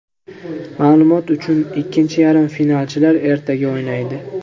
Ma’lumot uchun, ikkinchi yarim finalchilar ertaga o‘ynaydi.